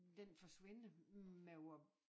Den forsvinder med vor